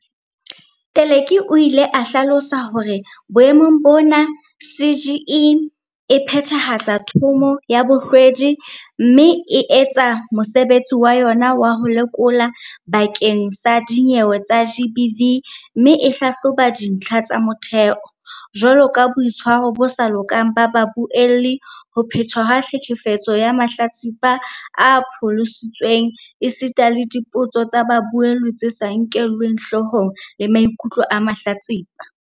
Teleki o ile a hlalosa hore boemong bona CGE e phethahatsa Thomo ya Bohlwedi mme e etsa mosebetsi wa yona wa ho lekola bakeng sa dinyewe tsa GBV mme e hlahloba dintlha tsa motheo, jwalo ka boitshwaro bo sa lokang ba babuelli, ho phetwa ha tlhekefetso ya mahlatsipa a pholositsweng esita le dipotso tsa babuelli tse sa nkeleng hlohong maikutlo a mahlatsipa.